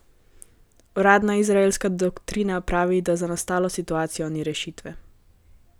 Uradna izraelska doktrina pravi, da za nastalo situacijo ni rešitve.